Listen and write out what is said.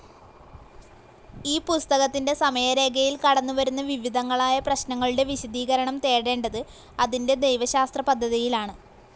ഈ പുസ്തകത്തിൻ്റെ സമയരേഖയിൽ കടന്നുവരുന്ന വിവിധങ്ങളായ പ്രശ്നങ്ങളുടെ വിശദീകരണം തേടേണ്ടത് അതിൻ്റെ ദൈവശാസ്ത്രപദ്ധതിയിലാണ്.